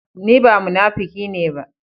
Ni ba munakifi ne ba.